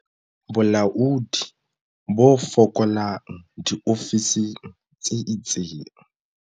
Bolaodi bo fokolang diofising tse itseng.